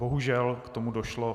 Bohužel k tomu došlo.